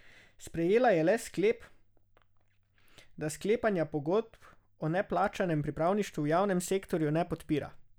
Sprejela je le sklep, da sklepanja pogodb o neplačanem pripravništvu v javnem sektorju ne podpira.